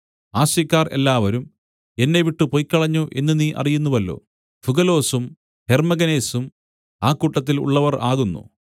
ആസ്യക്കാർ എല്ലാവരും എന്നെ വിട്ടുപൊയ്ക്കളഞ്ഞു എന്ന് നീ അറിയുന്നുവല്ലോ ഫുഗലൊസും ഹെർമ്മെഗനേസും ആ കൂട്ടത്തിൽ ഉള്ളവർ ആകുന്നു